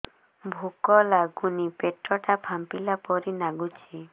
ଭୁକ ଲାଗୁନି ପେଟ ଟା ଫାମ୍ପିଲା ପରି ନାଗୁଚି